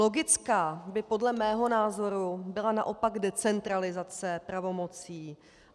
Logická by podle mého názoru byla naopak decentralizace pravomocí.